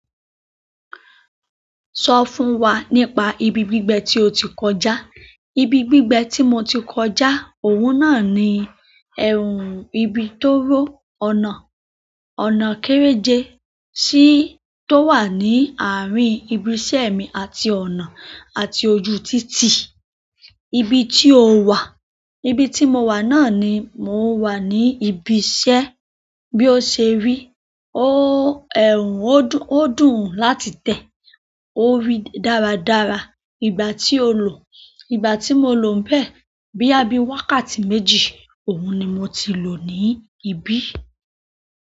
Sọ fún wa nípa ibi gbígbẹ tí o ti kọjá. Ibi gbígbẹ tí mo ti kọjá, òun náà ni ẹ̀rùn ibi tóóró ọ̀nà, ọ̀nà kéréje sí tó wà ní àárín ibi iṣẹ́ mi àti ọ̀nà àti ojú títì. Ibi tí o wà. Ibi tí mo wà náà ni mò ń wà ní ibi iṣẹ́. Bí o ṣe rí, ó ẹ̀rùn, ó dùn láti tẹ̀, ó rí dáradára. Ìgbà tí o lò. Ìgbà tí mo lò ńbẹ̀, bóyá bíi wákàtí méjì, òun ni mo ti lò ní ibí.